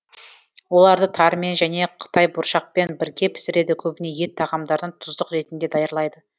оларды тарымен және қытайбұршақпен бірге пісіреді көбіне ет тағамдарына тұздық ретінде даярлайды